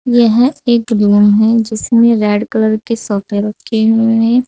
यह एक रूम है जिसमें रेड कलर के सोफे रखे हुए हैं।